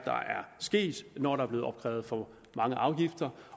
sket når der er blev opkrævet for mange afgifter